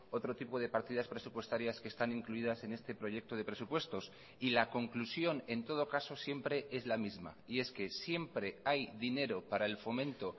otro tipo de partidas presupuestarias que están incluidas en este proyecto de presupuestos y la conclusión en todo caso siempre es la misma y es que siempre hay dinero para el fomento